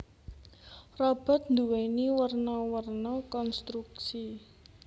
Robot nduwèni werna werna konstruksi